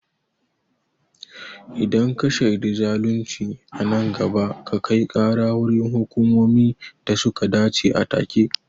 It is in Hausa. Idan ka shaidi zalunci a nan gaba, ka kai kara wurin hukumomi da suka dace a take.